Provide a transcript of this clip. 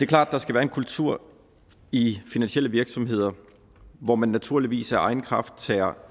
klart at der skal være en kultur i finansielle virksomheder hvor man naturligvis af egen kraft tager